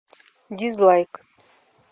дизлайк